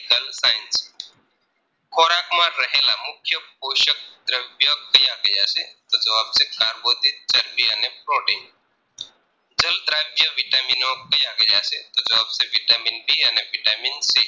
રહેલા મુખ્ય પોસક દ્રવ્ય ક્યાં ક્યાં છે તો જવાબ છે કાર્બોદિત ચરબી અને પ્રોટીન જળ દ્રાવ્ય vitamin નો ક્યાં ક્યાં છે તો જવાબ છે vitamin D અને vitamin C